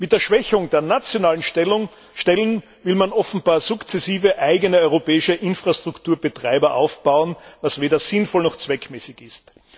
Mit der Schwächung der nationalen Stellen will man offenbar sukzessive eigene europäische Infrastrukturbetreiber aufbauen, was weder sinnvoll noch zweckmäßig ist.